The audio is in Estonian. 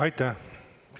Aitäh!